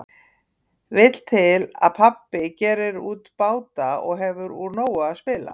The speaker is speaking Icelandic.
Vill til að pabbi gerir út báta og hefur úr nógu að spila.